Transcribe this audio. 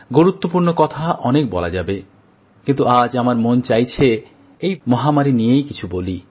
গুরুত্বপূর্ণ কথা অনেক বলা যাবে কিন্তু আজ আমার মন চাইছে এই মহামারী নিয়েই কিছু বলি